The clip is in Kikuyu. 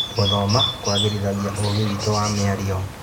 Gũthoma kũagĩrithagia ũũgĩ witũ wa mĩario.